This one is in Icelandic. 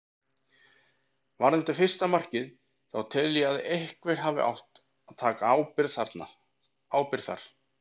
Varðandi fyrsta markið þá tel ég að einhver hafi átt að taka ábyrgðina þar.